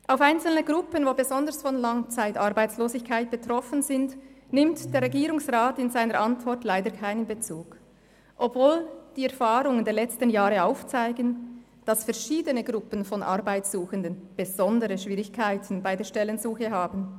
Auf einzelne Gruppen, die besonders von Langzeitarbeitslosigkeit betroffen sind, nimmt der Regierungsrat in seiner Antwort leider keinen Bezug, obwohl die Erfahrungen der letzten Jahre zeigen, dass verschiedene Gruppen von Arbeitssuchenden besondere Schwierigkeiten bei der Stellensuche haben.